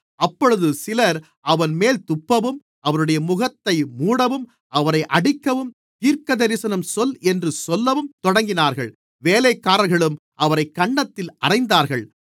அப்பொழுது சிலர் அவர்மேல் துப்பவும் அவருடைய முகத்தை மூடவும் அவரை அடிக்கவும் தீர்க்கதரிசனம் சொல் என்று சொல்லவும் தொடங்கினார்கள் வேலைக்காரர்களும் அவரைக் கன்னத்தில் அறைந்தார்கள்